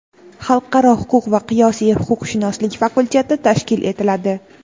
Xalqaro huquq va qiyosiy huquqshunoslik fakulteti tashkil etiladi.